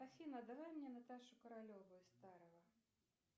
афина давай мне наташу королеву из старого